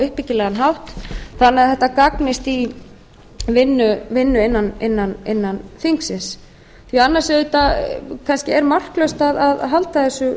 uppbyggilegan hátt þannig að þetta gagnist í vinnu innan þingsins því annars kannski auðvitað er marklaust að halda þessu